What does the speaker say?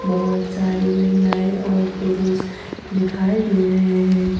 बहोत सारी महिलाएं और पुरुष दिखाई दे रहे है।